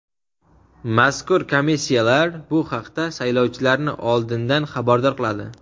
mazkur komissiyalar bu haqda saylovchilarni oldindan xabardor qiladi.